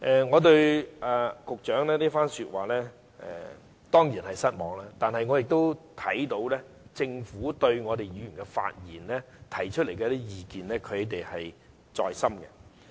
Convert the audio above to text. "我對局長這番說話當然感到失望，但我看到政府對議員提出的意見是放在心上的。